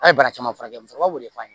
A' ye bara caman furakɛ musokɔrɔbaw de f'a ye